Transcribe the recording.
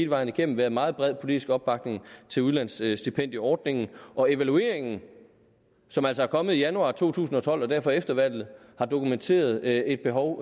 vejen igennem været meget bred politisk opbakning til udlandsstipendieordningen og evalueringen som altså kom i januar to tusind og tolv og derfor efter valget har dokumenteret et behov